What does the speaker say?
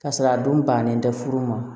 K'a sɔrɔ a dun bannen tɛ furu ma